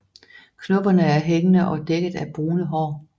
Knopperne er hængende og dækket af brune hår